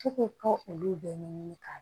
F'i k'o kɛ olu bɛɛ ɲɛɲini k'a